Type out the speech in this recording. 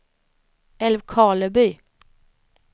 Älvkarleby